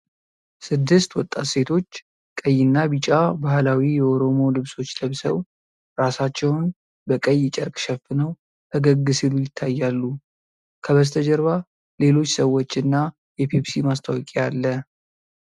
ስድስት ወጣት ሴቶች ቀይና ቢጫ ባህላዊ የኦሮሞ ልብሶች ለብሰው፣ ራሳቸውን በቀይ ጨርቅ ሸፍነው ፈገግ ሲሉ ይታያሉ። ከበስተጀርባ ሌሎች ሰዎችና የፔፕሲ ማስታወቂያ አለ።